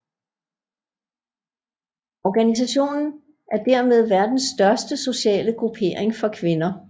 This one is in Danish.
Organisationen er dermed verdens største sociale gruppering for kvinder